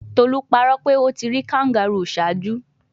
Tolu parọ pe o ti ri kangaroo ṣaaju